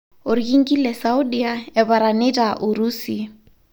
Orkingi le Saudia ,eparanita Urusi.